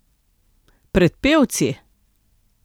Pred pevci?